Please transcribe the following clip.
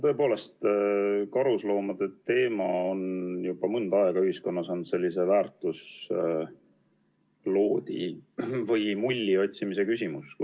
Tõepoolest, karusloomade teema on juba mõnda aega ühiskonnas sellise väärtusloodi või -mulli otsimise küsimus.